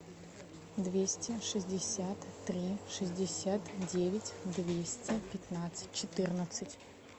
двести шестьдесят три шестьдесят девять двести пятнадцать четырнадцать